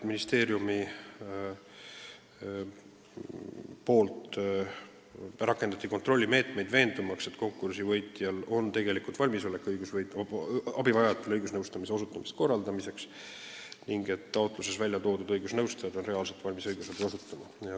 Ministeerium on rakendanud kontrollimeetmeid, veendumaks, et konkursi võitja on abivajajatele õigusabi osutamise korraldamiseks valmis ning et taotluses toodud õigusnõustajad on reaalselt valmis õigusabi andma.